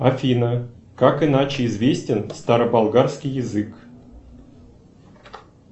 афина как иначе известен староболгарский язык